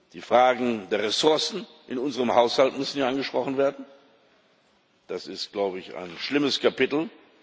Die Fragen der Ressourcen in unserem Haushalt müssen hier angesprochen werden. Das ist ein schlimmes Kapitel.